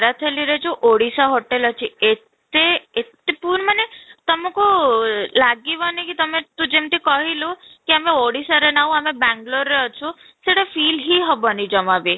ଥାଲୀ ରେ ଯଉ ଓଡିଶା hotel ଅଛି ଏତେ ଏତେ ପୂର୍ଣ୍ଣ ମାନେ ତମକୁ ଲାଗିବନି କି ତୁ ଯେମିତି କହିଲୁ କି ଆମେ ଓଡ଼ିଶାରେ ନାହୁଁ ଅଆମେ ବାଙ୍ଗାଲୁରରେ ଅଛୁ, ସେଇଟା feel ହିଁ ହେବନି ଜମା ବି